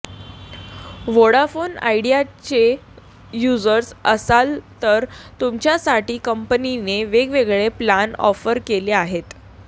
Vodafone आयडियाचे users असाल तर तुमच्यासाठी कंपनीने वेगवेगळे प्लान ऑफर केले आहेत